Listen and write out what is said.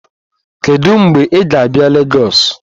Kedu mgbe ị ga-abịa Lagos?